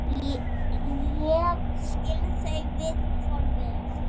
Ég skil þau viðhorf vel.